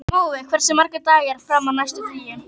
Mói, hversu margir dagar fram að næsta fríi?